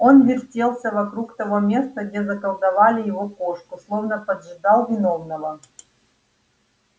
он вертелся вокруг того места где заколдовали его кошку словно поджидал виновного